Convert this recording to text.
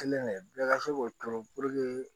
Kelen de bɛɛ ka se k'o turu puruke